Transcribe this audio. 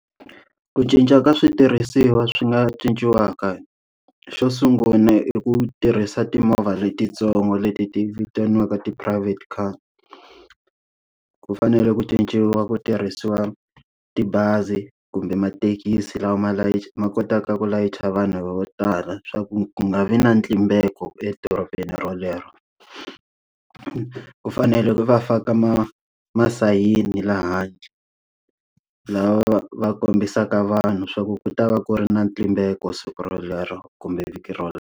Ku cinca ka switirhisiwa swi nga cinciwaka, xo sungula i ku tirhisa timovha letintsongo leti ti vitaniwaka ti-private car. Ku fanele ku cinciwa ku tirhisiwa tibazi kumbe mathekisi lawa ma layicha ma kotaka ku layicha vanhu vo tala swa ku ku nga vi na ntlimbeko edorobeni rolero. Ku fanele va faka ma masayini laha handle, lawa ya kombisaka vanhu swa ku ku ta va ku ri na ntlimbeko siku rolero kumbe vhiki rero.